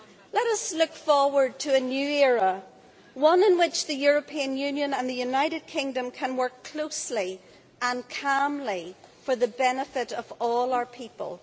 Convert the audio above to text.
Let us look forward to a new era, one in which the European Union and the United Kingdom can work closely and calmly for the benefit of all our people.